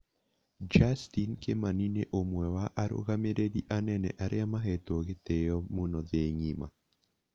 Justin Kimani nĩ umwe wa arũgamĩrĩri anene arĩa mahetwo gĩtĩo mũno thĩ ng'ima